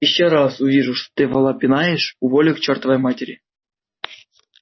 ещё раз увижу что ты вола пинаешь уволю к чёртовой матери